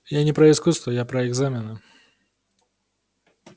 я не про искусство я про экзамены